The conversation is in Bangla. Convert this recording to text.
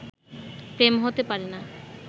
প্রেম হতে পারে না।